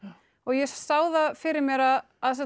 og ég sá það fyrir mér að að